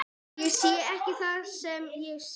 Ég sé ekki það sem ég sé.